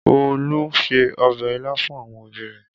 Olu se ọbẹ̀ ilá fún àwọn òbí rẹ̀.